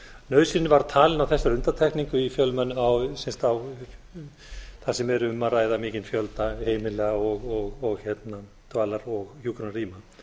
nauðsyn var talin á þessari undantekningu þar sem er um að ræða mikinn fjölda heimila og dvalar og hjúkrunarrýma